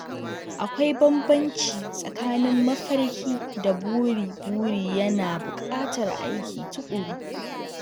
Akwai bambanci tsakanin mafarki da buri—buri yana buƙatar aiki tuƙuru.